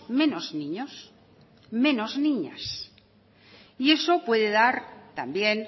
menos niños menos niños y eso puede dar también